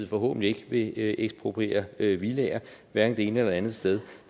forhåbentlig ikke vil ekspropriere villaer hverken det ene eller det andet sted